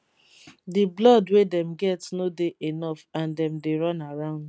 di blood wey dem get no dey enof and dem dey run around